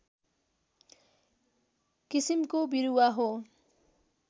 किसिमको बिरुवा हो